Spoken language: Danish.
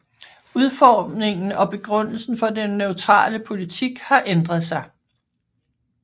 Udformningen og begrundelsen for den neutrale politik har ændret sig